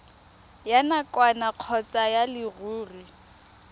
ya nakwana kgotsa ya leruri